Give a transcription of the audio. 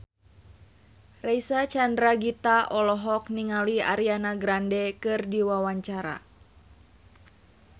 Reysa Chandragitta olohok ningali Ariana Grande keur diwawancara